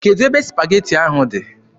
Kedụ ebe supageti ahụ dị?